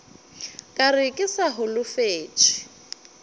ka re ke sa holofetše